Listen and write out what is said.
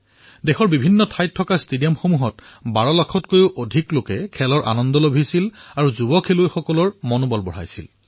দেশৰ বিভিন্ন ষ্টেডিয়ামত ১২লাখতকৈও অধিক লোকে ফুটবল মেচৰ আনন্দ উপভোগ কৰিছিল আৰু যুৱ খেলুৱৈসকলৰ উৎসাহ বৃদ্ধি কৰিছিল